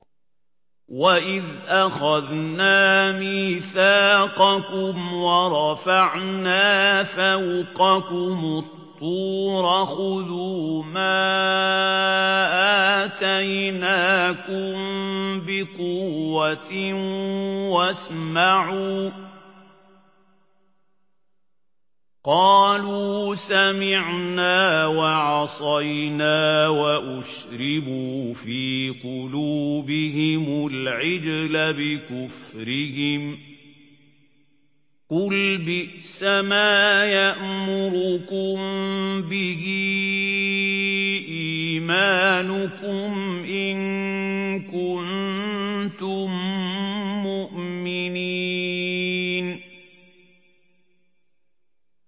وَإِذْ أَخَذْنَا مِيثَاقَكُمْ وَرَفَعْنَا فَوْقَكُمُ الطُّورَ خُذُوا مَا آتَيْنَاكُم بِقُوَّةٍ وَاسْمَعُوا ۖ قَالُوا سَمِعْنَا وَعَصَيْنَا وَأُشْرِبُوا فِي قُلُوبِهِمُ الْعِجْلَ بِكُفْرِهِمْ ۚ قُلْ بِئْسَمَا يَأْمُرُكُم بِهِ إِيمَانُكُمْ إِن كُنتُم مُّؤْمِنِينَ